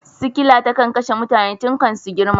Sikila tana kashe mutane tun kan su girma.